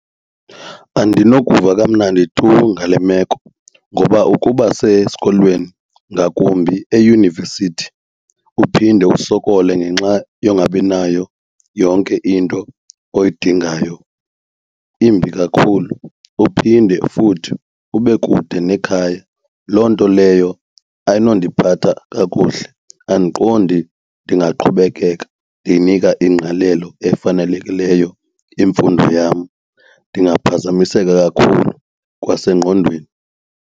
Andinokuva kamnandi tu ngale meko ngoba ukuba sesikolweni ngakumbi eyunivesithi uphinde usokole ngenxa yongabinayo yonke into oyidingayo imbi kakhulu uphinde futhi ube kude nekhaya. Loo nto leyo ayinondiphatha kakuhle andiqondi ndingaqhubekeka ndiyinika ingqalelo efanelekileyo imfundo yam, ndingaphazamiseka kakhulu kwasengqondweni.